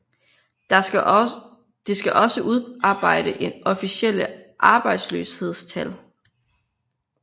Det skal også udarbejde officielle arbejdsløshedstal